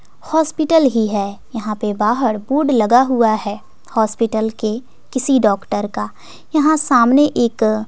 hospital ही है यहां पे बाहर बोर्ड लगा हुआ है हॉस्पिटल के किसी डॉक्टर का यहां सामने एक--